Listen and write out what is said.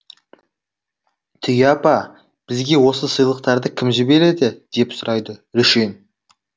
түйе апа бізге осы сыйлықтарды кім жібереді деп сұрайды рүшен